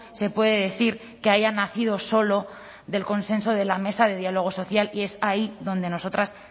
se puede decir que haya nacido solo del consenso de la mesa de diálogo social y es ahí donde nosotras